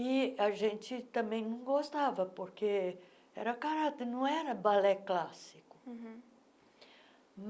E a gente também não gostava, porque era caráter, não era balé clássico. uhum